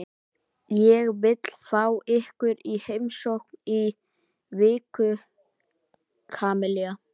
Ég vil fá ykkur í heimsókn í viku, Kamilla.